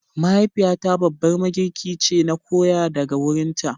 Mahaifiyata babbar magirki ce, na koya daga wurinta.